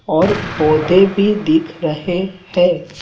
और पौधे भी दिख रहे हैं।